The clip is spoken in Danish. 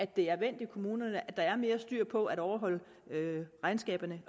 det er vendt i kommunerne at der er mere styr på at overholde regnskaberne